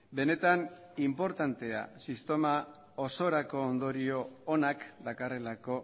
benetan inportantea sistema osorako ondorio onak dakarrelako